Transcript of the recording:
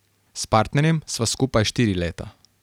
S partnerjem sva skupaj štiri leta.